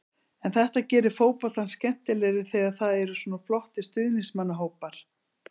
En þetta gerir fótboltann skemmtilegri þegar það eru svona flottir stuðningsmannahópar.